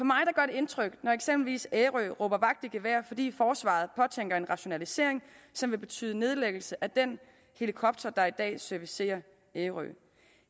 indtryk når eksempelvis ærø råber vagt i gevær fordi forsvaret påtænker en rationalisering som vil betyde nedlæggelse af den helikopter der i dag servicerer ærø